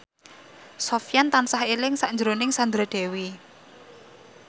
Sofyan tansah eling sakjroning Sandra Dewi